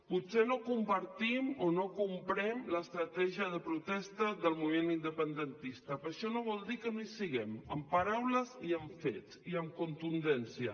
potser no compartim o no comprem l’estratègia de protesta del moviment independentista però això no vol dir que no hi siguem amb paraules i amb fets i amb contundència